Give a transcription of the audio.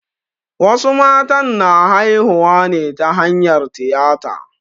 Wasu matan na haihuwa ne ta hanyar tiyata.